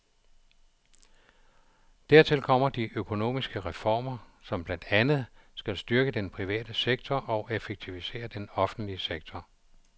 Dertil kommer de økonomiske reformer, som blandt andet skal styrke den private sektor og effektivisere den offentlige sektor.